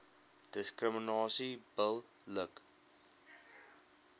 diskriminasie bil lik